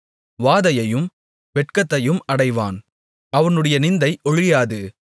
வாதையையும் வெட்கத்தையும் அடைவான் அவனுடைய நிந்தை ஒழியாது